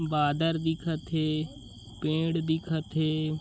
बादर दिखत हे पेड़ दिखत हे।